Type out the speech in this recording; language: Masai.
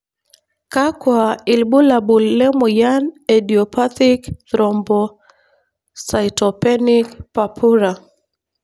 kakua ilbulabul lemoyian eIdiopathic thrombocytopenic purpura?